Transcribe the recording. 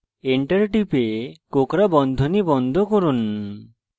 enter টিপে কোঁকড়া বন্ধনী বন্ধ করুন